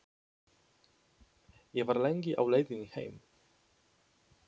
Ég var lengi á leiðinni heim.